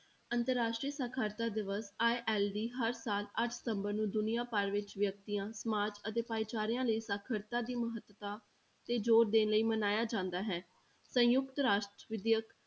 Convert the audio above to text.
ਅੰਤਰ ਰਾਸ਼ਟਰੀ ਸਾਖ਼ਰਤਾ ਦਿਵਸ ILD ਹਰ ਸਾਲ ਅੱਠ ਸਤੰਬਰ ਨੂੰ ਦੁਨੀਆਂ ਭਰ ਵਿੱਚ ਵਿਅਕਤੀਆਂ, ਸਮਾਜ ਅਤੇ ਭਾਈਚਾਰਿਆਂ ਲਈ ਸਾਖ਼ਰਤਾ ਦੀ ਮਹੱਤਤਾ ਤੇ ਜ਼ੋਰ ਦੇਣ ਲਈ ਮਨਾਇਆ ਜਾਂਦਾ ਹੈ, ਸੰਯੁਕਤ ਰਾਸ਼ਟਰ ਵਿਦਿਅਕ